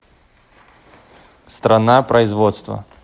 страна производства